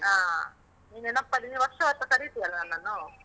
ಹ. ನೆನಪ್ಪಲ್ಲಿ ನೀನು ವರ್ಷ ವರ್ಷ ಕರೀತಿಯಲ್ಲ ನನ್ನನ್ನು?